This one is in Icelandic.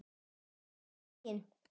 Góðan daginn!